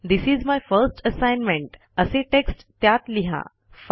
this is my first assignment असे text त्यात लिहा